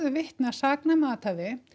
vitni að saknæmu athæfi